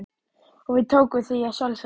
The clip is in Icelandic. Og við tókum því að sjálfsögðu.